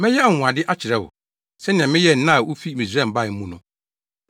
“Mɛyɛ anwonwade akyerɛ wo, sɛnea meyɛɛ nna a wufi Misraim bae mu no.”